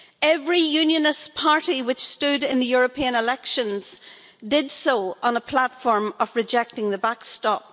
Every Unionist party which stood in the European elections did so on a platform of rejecting the backstop.